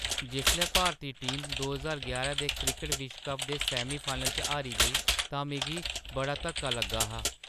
जिसलै भारती टीम दो ज्हार यारां दे क्रिकट विश्व कप दे सैमीफाइनल च हारी गेई तां मिगी बड़ा धक्का लग्गा हा।